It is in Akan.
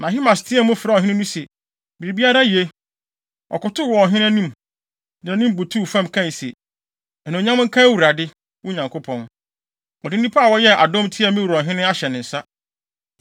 Na Ahimaas teɛɛ mu, frɛɛ ɔhene no se, “Biribiara ye!” Ɔkotow wɔ ɔhene no anim, de nʼanim butuw fam kae se, “Anuonyam nka Awurade, wo Nyankopɔn. Ɔde nnipa a wɔyɛɛ adɔm tiaa me wura ɔhene ahyɛ ne nsa.”